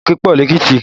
Òkè pọ lékìtì